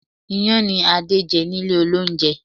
Iyán ni Adé jẹ nílé olóúnjẹ